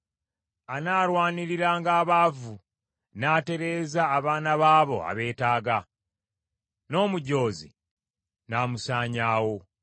Anaalwaniriranga abaavu, n’atereeza abaana b’abo abeetaaga, n’omujoozi n’amusaanyaawo.